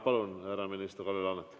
Palun, härra minister Kalle Laanet!